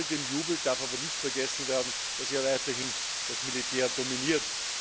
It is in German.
Bei all dem Jubel darf aber nicht vergessen werden, dass weiterhin das Militär dominiert.